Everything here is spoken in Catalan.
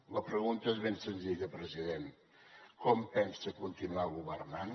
la pregunta és ben senzilla president com pensa continuar governant